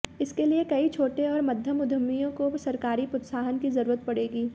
इसके लिए कई छोटे और मध्यम उद्यमियों को सरकारी प्रोत्साहन की जरूरत पड़ेगी